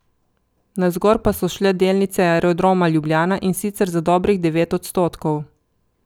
Navzgor pa so šle delnice Aerodroma Ljubljana, in sicer za dobrih devet odstotkov.